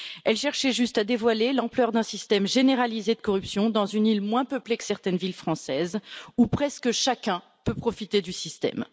elle cherchait juste à dévoiler l'ampleur d'un système généralisé de corruption dans une île moins peuplée que certaines villes françaises, où presque chacun peut profiter du système.